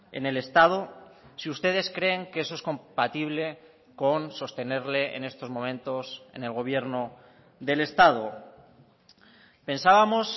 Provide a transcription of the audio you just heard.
en el estado si ustedes creen que eso es compatible con sostenerle en estos momentos en el gobierno del estado pensábamos